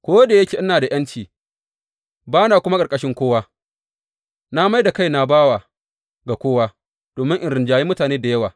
Ko da yake ina da ’yanci ba na kuma ƙarƙashin kowa, na mai da kaina bawa ga kowa, domin in rinjayi mutane da yawa.